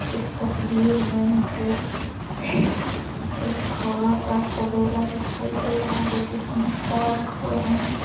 इस तस्वीर में मुझे एक घोड़ों का तबेला दिखाई दे रहा है जिसमें चार घोड़े हैं।